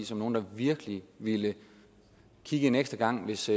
som nogle der virkelig ville kigge en ekstra gang hvis